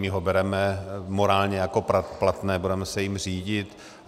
My ho bereme morálně jako platné, budeme se jím řídit.